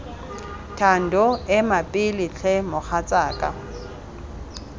thando ema pele tlhe mogatsaka